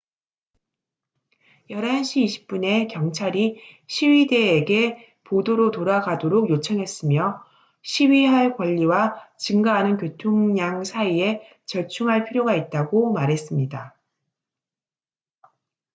11시 20분에 경찰이 시위대에게 보도로 돌아가도록 요청했으며 시위할 권리와 증가하는 교통량 사이에 절충할 필요가 있다고 말했습니다